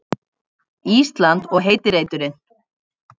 Ísland og heiti reiturinn.